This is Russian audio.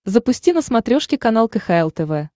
запусти на смотрешке канал кхл тв